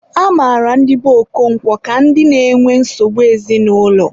a mara ndị be Okonkwo ka ndị na-enwe nsogbu ezinaụlọ.